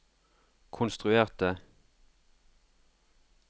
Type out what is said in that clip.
konstruerte